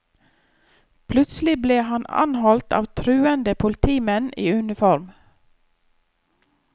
Plutselig ble han anholdt av truende politimenn i uniform.